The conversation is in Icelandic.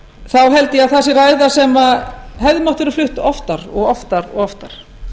þá held ég að það sé ræða sem hefði mátt vera flutt oftar og oftar og oftar